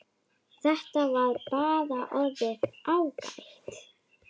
Þetta var bara orðið ágætt.